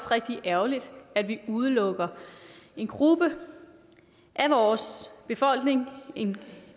rigtig ærgerligt at vi udelukker en gruppe af vores befolkning en